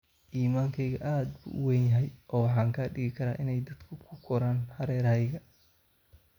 Iimaankaygu aad buu u weyn yahay oo waxaan ka dhigi karaa inay dadka ku koraan hareerahayga.